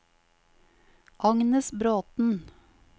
Agnes Bråten